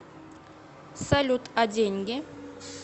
салют а деньги